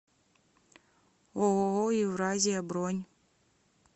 ооо евразия бронь